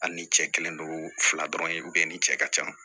Ani cɛ kelen don fila dɔrɔn ye ni cɛ ka can